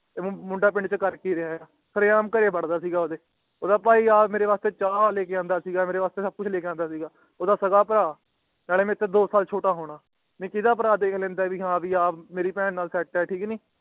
ਕਿ ਇਹ ਮੁੰਡਾ ਆਪਣੇ ਪਿੰਡ ਛੇ ਕਰ ਕਿ ਰਿਆਂ ਹੈ ਸਾਰੇ ਆਮ ਘਰੇ ਵੜਦਾ ਸੀਗਾ ਓਹਦੇ ਓਹਦਾ ਭਾਈ ਚਾਹ ਲੈਕੇ ਔਬਦਾ ਸੀਗਾ ਮੇਰੇ ਵਾਸਤੇ ਸਬ ਕੁਛ ਲੈਕੇ ਆਂਦਾ ਸੀਗਾ ਮੇਰੇ ਵਾਸਤੇ ਓਹਦਾ ਸਾਗਾ ਭਰਾ ਨਾਲੇ ਮੇਰੇ ਤੋਂ ਦੋ ਸਾਲ ਛੋਟਾ ਹੋਣਾ ਨਹੀਂ ਕਿਦਾ ਦਾ ਭਰਾ ਦੇਖ ਲੈਂਦਾ ਹੈ ਕਿ ਆ ਮੇਰੀ ਬੇਹਂ ਨਾਲ ਸੈੱਟ ਹੈ ਠੀਕ ਨੀ